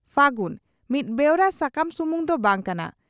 ᱯᱷᱟᱹᱜᱩᱱ' ᱢᱤᱫ ᱵᱮᱣᱨᱟ ᱥᱟᱠᱟᱢ ᱥᱩᱢᱩᱝ ᱫᱚ ᱵᱟᱝ ᱠᱟᱱᱟ